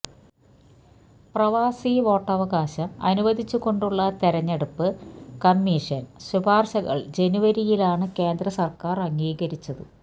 പ്രവാസി വോട്ടവകാശം അനുവദിച്ചുകൊണ്ടുള്ള തെരഞ്ഞെടുപ്പ് കമ്മീഷന് ശുപാര്ശകള് ജനുവരിയിലാണ് കേന്ദ്രസര്ക്കാര് അംഗീകരിച്ചത്